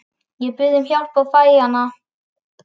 Ég bið um hjálp og ég fæ hana.